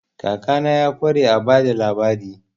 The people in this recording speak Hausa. Kakana ya ƙware a ba da labari.